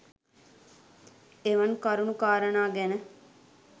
එවන් කරුණු කාරණා ගැන